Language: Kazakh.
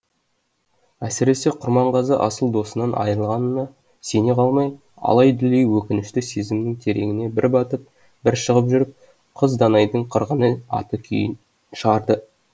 әсіресе құрманғазы асыл досынан айрылғанына сене алмай алай дүлей өкінішті сезімнің тереңіне бір батып бір шығып жүріп қыз данайдың қырғыны атты күйін шығарды